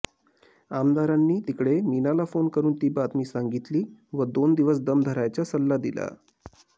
आमदारांनी तिकडे मीनाला फ़ोन करून ती बातमी सांगीतली व दोन दिवस दम धरायचा सल्ला दिला